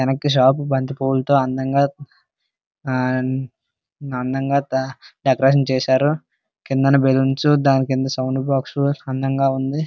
వెనక్కి షాపు బంతిపూలతో అందంగా ఆ అందంగా డెకరేషన్ చేశారు. కిందన బెలూన్స్ దానికింద సౌండ్ బాక్స్ అందంగా ఉంది.